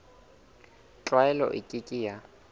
tlwaelo e ke ke ya